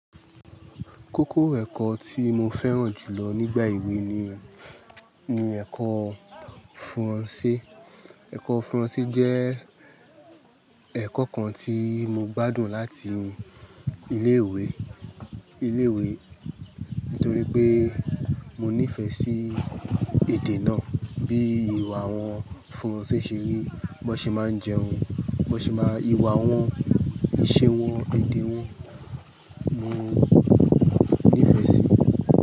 Kókó ẹ̀kọ́ tí mo fẹ́ràn jù lọ nígbà ewé ni, ni ẹ̀kọ́ Furanse. Ẹ̀kọ́ Furanse jẹ́ ẹ̀kọ́ kan tí mo gbádùn láti ilé ìwé, ilé ìwé nítorí pé mo nífẹ̀ẹ́ sí èdè náà. Bí ìwà àwọn Furanse ṣe rí, bí wọ́n ṣe máa ń jẹun, bí wọ́n ṣe máa ń, ìwà wọn, ìṣe wọn, èdè wọn, mo nífẹ̀ẹ́ sí.